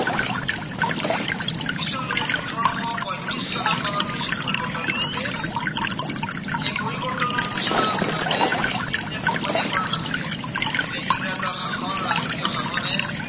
পিছলৈ ওঠৰশ পয়ত্ৰিশ চন মানত কিছু পৰিৱৰ্তন ঘটে। সেই পৰিৱৰ্তনৰ সূচনা আচলতে ইষ্ট ইন্দিয়া কোম্পানীয়ে কৰা নাছিলে। তেতিয়া ইংৰাজৰ শাসন, ৰাজকীয় শাসনে